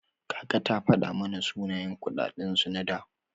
Kaka ta fada mana sunayen kuɗaɗen su na da.